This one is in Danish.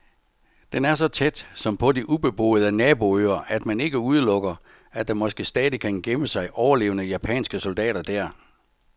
Den er så tæt, som på de ubeboede naboøer, at man ikke udelukker, at der måske stadig kan gemme sig overlevende japanske soldater der.